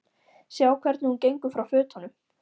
Sjá hvernig hún gengur frá fötunum.